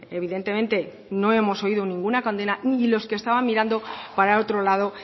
evidentemente no hemos oído ninguna condena ni los que estaban mirando para otro lado